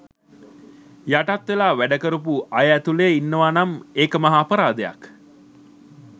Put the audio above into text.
යටත් වෙලා වැඩ කරපු අය ඇතුලේ ඉන්නවා නම් එක මහා අපරාධයක්.